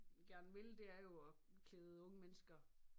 Gerne vil det er jo at klæde unge mennesker